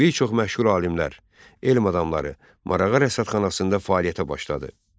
Bir çox məşhur alimlər, elm adamları Marağa rəsədxanasında fəaliyyətə başladı.